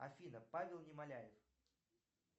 афина павел немоляев